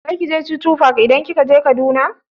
Zaki je chuchu park idan kika je Kaduna?